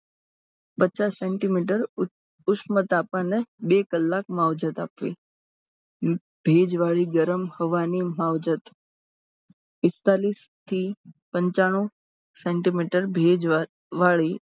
પચાસ સેમી ઉષ્મ તાપમાને બે કલાક માવજત આપવી. ભેજવાળી ગરમ હવાની માવજત પિસ્તાલીસ થી પંચાણું સેમી ભેજવાળી પિસ્તાળીસ થી